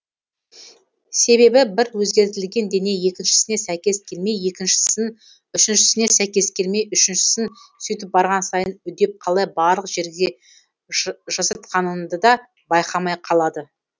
себебі бір өзгертілген дене екіншісіне сәйкес келмей екіншісін үшіншісіне сәйкес келмей үшіншісін сөйтіп барған сайын үдеп қалай барлық жерге жасатқанынды да байқамай қалады